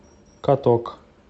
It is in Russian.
каток